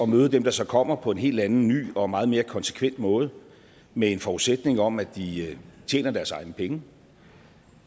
møde dem der så kommer på en helt anden ny og meget mere konsekvent måde med en forudsætning om at de tjener deres egne penge